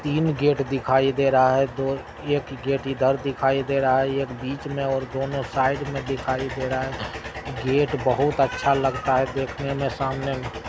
तीन गेट दिखाई दे रहा है। दो-एक गेट इधर दिखाई दे रहा है एक बिच में और दोनों साइड में दिखाई दे रहा है गेट बहुत अच्छा लगता है देखने में सामने।